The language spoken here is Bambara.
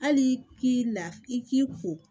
Hali k'i la i k'i ko